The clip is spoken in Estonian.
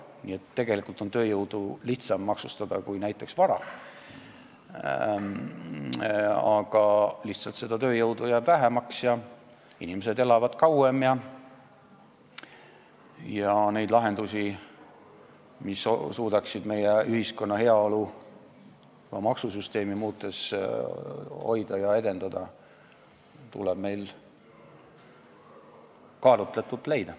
Nii et tegelikult on tööjõudu lihtsam maksustada kui näiteks vara, aga tööjõudu jääb lihtsalt vähemaks ja inimesed elavad kauem ning neid lahendusi, mis suudaksid meie ühiskonna heaolu ka maksusüsteemi muutes hoida ja edendada, tuleb meil kaalutletult otsida.